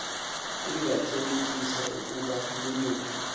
ingathelekisa ukuba loluphi